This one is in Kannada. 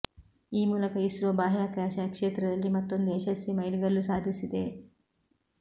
ಈ ಮೂಲಕ ಇಸ್ರೊ ಬಾಹ್ಯಾಕಾಶ ಕ್ಷೇತ್ರದಲ್ಲಿ ಮತ್ತೊಂದು ಯಶಸ್ವಿ ಮೈಲುಗಲ್ಲು ಸಾಧಿಸಿದೆ